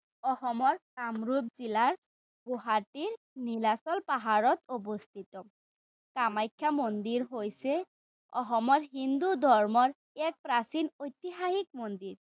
অসমৰ কামৰূপ জিলাৰ গুৱাহাটীৰ নীলাচল পাহাৰত অৱস্থিত কামাখ্যা মন্দিৰ হৈছে অসমৰ হিন্দু ধৰ্মৰ এক প্ৰাচীন ঐতিহাসিক মন্দিৰ।